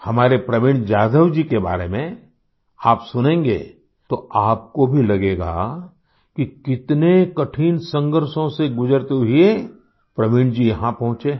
हमारे प्रवीण जाधव जी के बारे में आप सुनेंगे तो आपको भी लगेगा कि कितने कठिन संघर्षों से गुजरते हुए प्रवीण जी यहाँ पहुंचे हैं